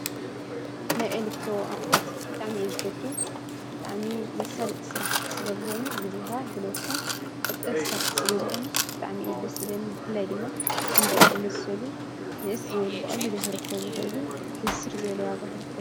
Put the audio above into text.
ናይ ኤለክትሮ ኣቁሑት ብጣዕሚ እዩ ዝፈቱ ። ብጣዕሚ መሳለጢ ስራሕቲ ስለ ዝኮኑ ግዜካ ጉልበትካ ቆጠብቲ ስራሕቲ ስለ ዝኮኑ ብጣዕሚ እዩ ደስ ዝብለኒ ።ብፍላይ ድማ ከምዚኦም ዝመሰሉ ንእስ ዝበሉ ብቀሊሉ ክርከቡ ዝክእሉ ሕስር ዝበለ ዋጋ ክርከቡ